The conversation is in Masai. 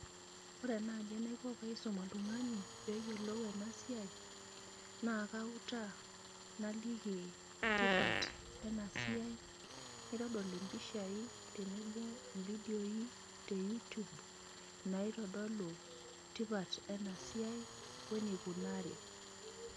Ore naaji enaiko tenaisum oltung'ani peyiolou ena siai naa kautaa naliki tipat ena siai, naitodol impishai tenebo ofidioi te youtube naitodolu tipat ena siai wenikunari.